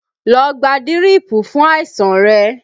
Lọ gba dírípù fún àìsàn rẹ!